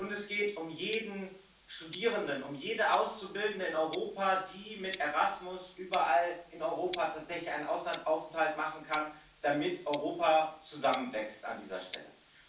Und es geht um jeden Studierenden, um jede Auszubildende in Europa, die mit Erasmus überall in Europa tatsächlich einen Auslandsaufenthalt machen können, damit Europa zusammenwächst an dieser Stelle.